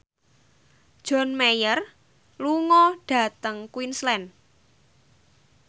John Mayer lunga dhateng Queensland